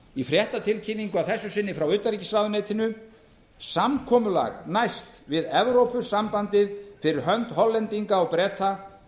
í fréttatilkynningu að þessu sinni frá utanríkisráðuneytinu samkomulag næst við evrópusambandið fyrir hönd hollendinga og breta